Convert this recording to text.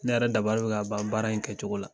Ne yɛrɛ dabari bɛ ka ban baara in kɛ cogo la.